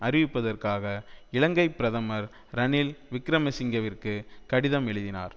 அறிவிப்பதற்காக இலங்கை பிரதமர் ரணில் விக்கிரமசிங்கவிற்கு கடிதம் எழுதினார்